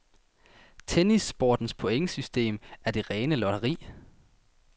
Tennissportens pointsystem er det rene lotteri.